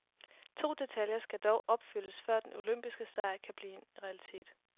To detaljer skal dog opfyldes, før den olympiske sejr kan blive en realitet.